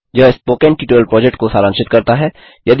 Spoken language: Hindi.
यह स्पोकन ट्यटोरियल प्रोजेक्ट को सारांशित करता है